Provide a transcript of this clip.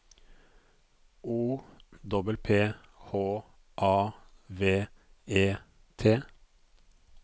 O P P H A V E T